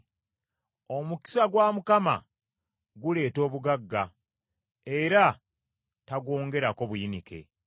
Omukisa gwa Mukama guleeta obugagga era tagwongerako buyinike.